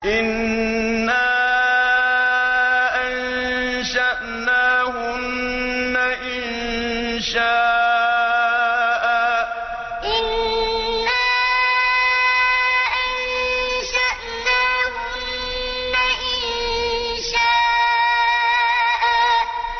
إِنَّا أَنشَأْنَاهُنَّ إِنشَاءً إِنَّا أَنشَأْنَاهُنَّ إِنشَاءً